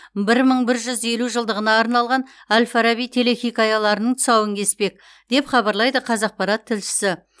бір мың бір жүз елу жылдығына арналған әл фараби телехикаяларының тұсауын кеспек деп хабарлайды қазақпарат тілшісі